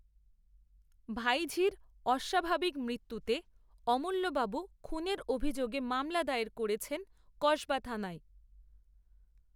ভাইঝির অস্বাভাবিক মৃত্যুতে অমূল্যবাবু খুনের অভিযোগে মামলা দায়ের করেছেন, কসবা থানায়